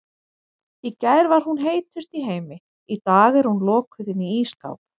Í gær var hún heitust í heimi, í dag er hún lokuð inni í ísskáp.